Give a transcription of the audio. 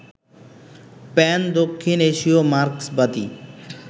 প্যান-দক্ষিণ এশীয় মার্ক্সবাদী